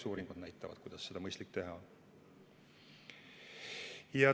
Eks uuringud näitavad, kuidas seda mõistlik teha on.